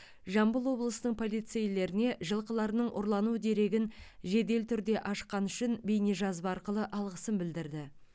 жамбыл облысының полицейлеріне жылқыларының ұрлану дерегін жедел түрде ашқаны үшін бейнежазба арқылы алғысын білдірді